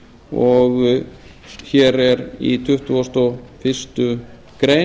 og hér er í tuttugasta og fyrstu grein